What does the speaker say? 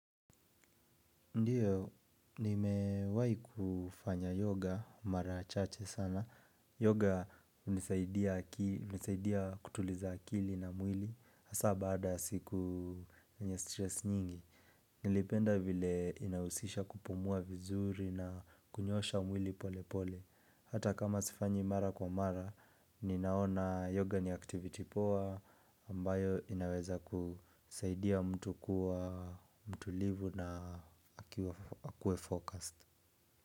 Ndiyo, nimewai kufanya yoga, mara chache sana. Yoga hunisaidia kutuliza akili na mwili, hasa baada ya siku yenye stress nyingi. Nilipenda vile inahusisha kupumua vizuri na kunyoosha mwili pole pole. Hata kama sifanyi mara kwa mara, ninaona yoga ni activity poa ambayo inaweza kusaidia mtu kuwa mtulivu na akue focused.